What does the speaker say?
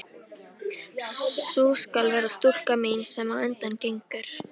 Sú skal vera stúlkan mín, sem á undan gengur.